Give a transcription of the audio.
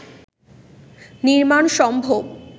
নির্মাণ সম্ভব